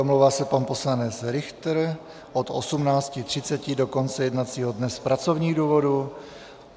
Omlouvá se pan poslanec Richter od 18.30 do konce jednacího dne z pracovních důvodů.